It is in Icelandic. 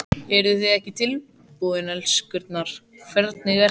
Eruð þið ekki tilbúin, elskurnar, hvernig er þetta?